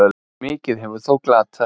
Mikið hefur þó glatast.